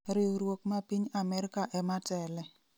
riwruok ma piny Amerka ematele